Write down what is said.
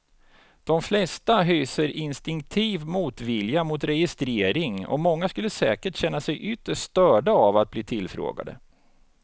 De flesta hyser instinktiv motvilja mot registrering och många skulle säkert känna sig ytterst störda av att bli tillfrågade.